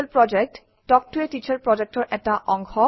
কথন শিক্ষণ প্ৰকল্প তাল্ক ত a টিচাৰ প্ৰকল্পৰ এটা অংগ